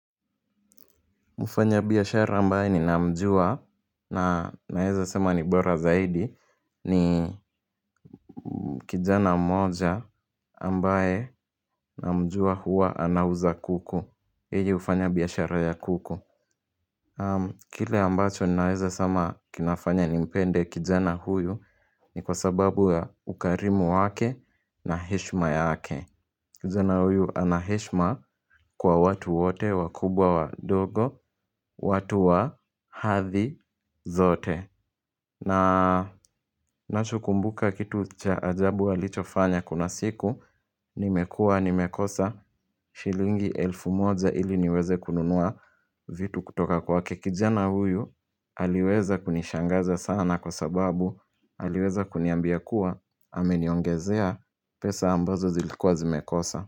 Mfanya biashara ambaye ni namjua na naeza sema ni bora zaidi ni kijana moja ambaye na mjua huwa anauza kuku. Yeye hufanya biashara ya kuku. Kile ambacho ninaeza sema kinafanya nimpende kijana huyu ni kwa sababu ya ukarimu wake na heshima yake. Kijana huyu anaheshima kwa watu wote wakubwa wadogo watu wa hadhi zote na ninacho kumbuka kitu cha ajabu alicho fanya kuna siku Nimekuwa nimekosa Shilingi elfu moja ili niweze kununua vitu kutoka kwake kijana huyu Aliweza kunishangaza sana kwa sababu Aliweza kuniambia kuwa Ameniongezea pesa ambazo zilikua zimekosa.